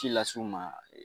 ci lase u ma